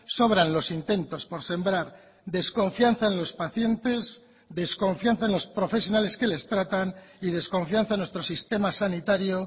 sobran los intentos por sembrar desconfianza en los pacientes desconfianza en los profesionales que les tratan y desconfianza en nuestro sistema sanitario